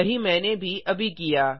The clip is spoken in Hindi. यही मैंने भी अभी किया